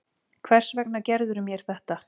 Hvers vegna gerðirðu mér þetta?